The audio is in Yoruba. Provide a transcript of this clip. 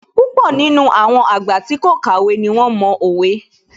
Púpọ̀ nínú àwọn àgbà tí kò kàwé ní wón mo òwe